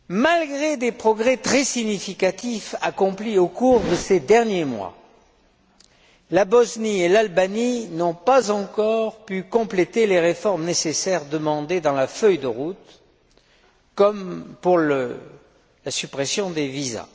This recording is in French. Malgré des progrès très significatifs accomplis au cours de ces derniers mois, la Bosnie et l'Albanie n'ont pas encore pu compléter les réformes nécessaires demandées dans la feuille de route, comme la suppression des visas.